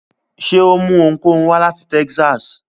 Ṣe o mú ohunkóhun wá lati Texas?